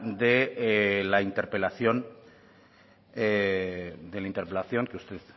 de la interpelación